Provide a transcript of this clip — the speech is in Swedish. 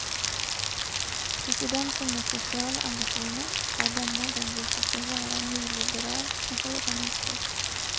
Presidenten med sociala ambitioner har denna gång visat sig vara en nyliberal med hårda nypor.